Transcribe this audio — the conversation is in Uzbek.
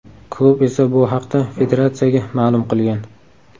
Klub esa bu haqda federatsiyaga ma’lum qilgan.